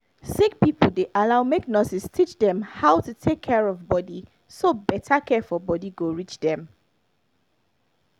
sick people dey allow make nurses teach dem how to take care of body so better care for body go reach dem